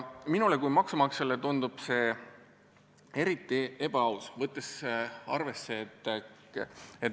Minule kui maksumaksjale tundub see eriti ebaaus.